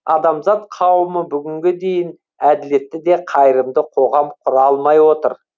адамзат қауымы бүгінге дейін әділетті де қайырымды қоғам құра алмай отыр